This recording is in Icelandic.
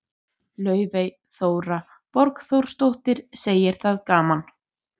Laufey Þóra Borgþórsdóttir, segir það gaman.